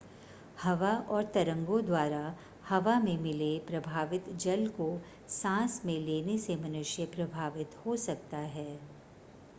हवा और तरंगों द्वारा हवा में मिले प्रभावित जल को सांस में लेने से मनुष्य प्रभावित हो सकता है